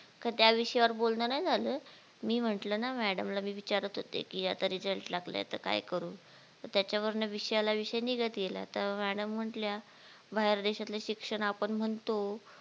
त्या विषयावर बोलणं नाय झालं मी म्हटलं ना madam ला मी विचारत होते की आता RESULT लागलाय तर काय करू? तर त्याच्या वरण विषयाला विषय निघत गेला तर madam म्हंटल्या बाहेर देशातले शिक्षण आपण म्हणतो